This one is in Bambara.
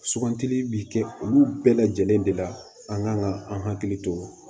Sugantili bi kɛ olu bɛɛ lajɛlen de la an kan ka an hakili to